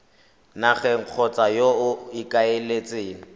nageng kgotsa yo o ikaeletseng